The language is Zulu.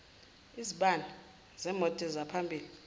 izibani zemoto zaphambili